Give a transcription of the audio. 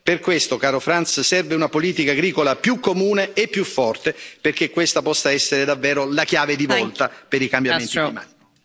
Per questo, caro Frans, serve una politica agricola più comune e più forte, perché questa possa essere davvero la chiave di volta per i cambiamenti climatici...